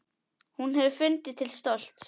Hún hefði fundið til stolts.